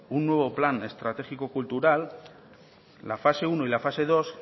un nuevo plan estratégico cultural la fase uno y la fase dos